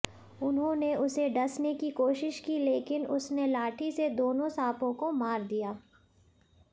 उन्होंने उसे डसने की कोशिश की लेकिन उसने लाठी से दोनों सांपों को मार दिया